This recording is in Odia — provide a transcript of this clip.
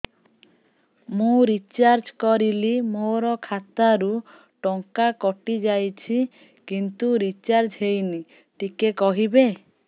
ମୁ ରିଚାର୍ଜ କରିଲି ମୋର ଖାତା ରୁ ଟଙ୍କା କଟି ଯାଇଛି କିନ୍ତୁ ରିଚାର୍ଜ ହେଇନି ଟିକେ କହିବେ